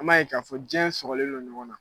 An b'a ye k'a fɔ jɛ sɔgoɔlen don ɲɔgɔn na.